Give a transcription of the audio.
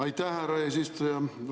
Aitäh, härra eesistuja!